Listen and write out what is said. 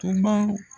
Tuma